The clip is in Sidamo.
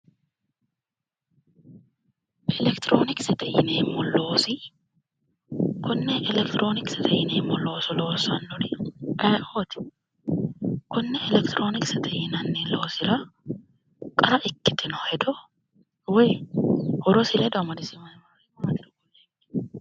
Elekitironokisete yinneemmo loosi konne elekitironokisete yinneemmo looso loossanori ayeeoti ,konne elekitironokisete yinneemmo loosira qarra ikkitino hedo woyi horosi ledo amadisiisamerichi maatiro kulie.